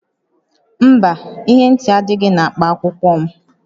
Mba, ihe ntị adịghị na akpa akwụkwọ m